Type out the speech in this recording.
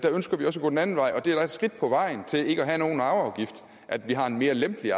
ønsker vi at gå den anden vej og det er et skridt på vejen til ikke at have nogen arveafgift at vi har en mere lempelig